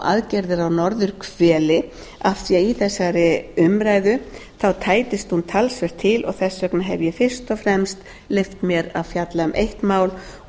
aðgerðir á norðurhveli af því að í þessari umræðu tætast hún talsvert til og þess vegna hef ég fyrst og fremst leyft mér að fjalla um eitt mál og